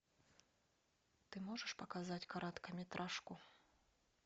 ты можешь показать короткометражку